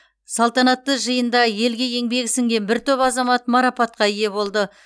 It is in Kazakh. салтанатты жиында елге еңбегі сіңген бір топ азамат марапатқа ие болды